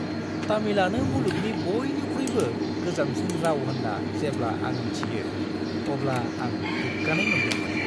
तामिलआनो मुलुगनि बयनिख्रुइबो गोजामसिन राव होन्ना जेब्ला आं‌ मिथियो अब्ला आं गोग्गानाय मोनदोंमोन।